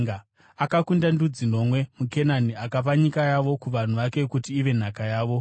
akakunda ndudzi nomwe muKenani akapa nyika yavo kuvanhu vake kuti ive nhaka yavo.